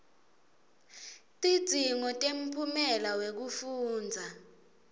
tidzingo temphumela wekufundza